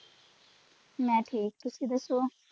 ਮੈਂ ਠੀਕ ਤੁਸੀ ਦਸੋ।